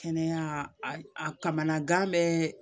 Kɛnɛya a kamana gan bɛ